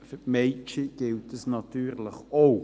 Für die Mädchen gilt dies natürlich auch.